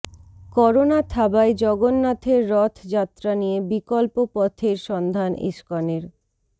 corona থাবায় জগন্নাথের রথ যাত্রা নিয়ে বিকল্প পথের সন্ধান ইস্কনের